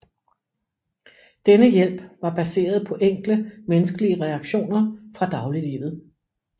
Denne hjælp var baseret på enkle menneskelige reaktioner fra dagliglivet